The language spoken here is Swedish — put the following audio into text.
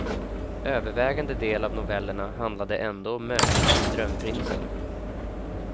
Övervägande del av novellerna handlade ändå om mötet med drömprinsen.